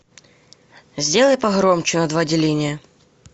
сделай погромче на два деления